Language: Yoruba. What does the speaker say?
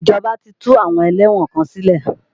Ìjọba ti tú àwọn ẹlẹ́wọ̀n kan sílẹ̀.